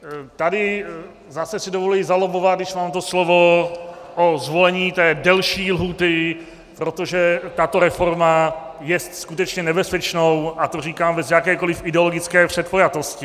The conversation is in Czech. Tady zase si dovoluji zalobbovat, když mám to slovo, o zvolení té delší lhůty, protože tato reforma jest skutečně nebezpečnou, a to říkám bez jakékoliv ideologické předpojatosti.